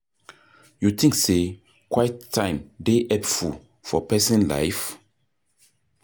You think say quiet time dey helpful for pesin life?